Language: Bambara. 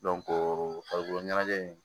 farikolo ɲɛnajɛ in